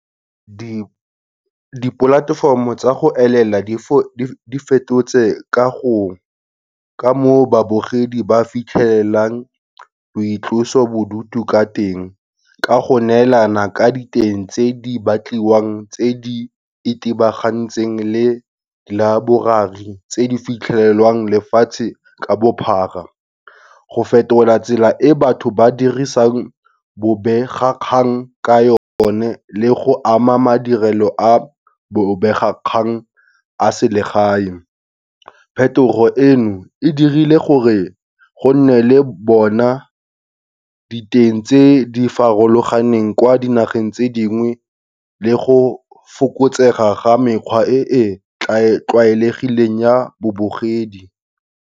Di-platform-o tsa go elela di fetotse ka moo babogedi ba fitlhelelang boitlosobodutu ka teng, ka go neelana ka diteng tse di batliwang tse di itebagantseng le library tse di fitlhelwang lefatshe ka bophara. Go fetola tsela e batho ba dirisang bobegakgang ka yone le go ama madirelo a bobegakgang a selegae. Phetogo e no e dirile gore go nne le bona diteng tse di farologaneng kwa dinageng tse dingwe le go fokotsega ga mekgwa e e tlwaelegileng ya babogedi.